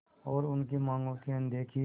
और उनकी मांगों की अनदेखी